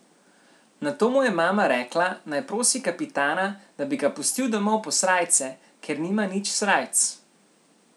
Nato mu je mama rekla, naj prosi kapitana, da bi ga pustil domov po srajce, ker nima nič srajc.